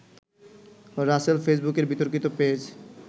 রাসেল ফেসবুকের বিতর্কিত পেজ